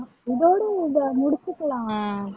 இதோடு இதை முடிச்சுக்கலாம்